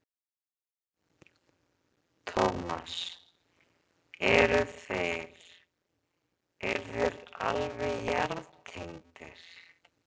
Tómas: Eru þeir, eru þeir alveg jarðtengdir?